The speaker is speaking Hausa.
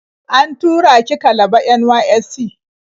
An tura ni Kalaba NYSC.